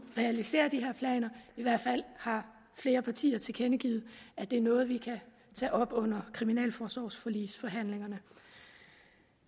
realisere de her planer i hvert fald har flere partier tilkendegivet at det er noget som vi kan tage op under kriminalforsorgsforligsforhandlingerne